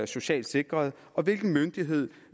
socialt sikret og hvilken myndighed